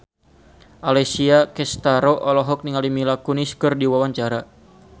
Alessia Cestaro olohok ningali Mila Kunis keur diwawancara